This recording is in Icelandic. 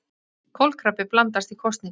Kolkrabbi blandast í kosningar